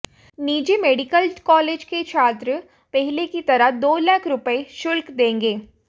निजी medical college के छात्र पहले की तरह दो लाख रुपए शुल्क देंगे